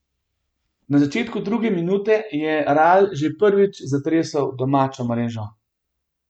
Na začetku druge minute je Ral že prvič zatresel domačo mrežo.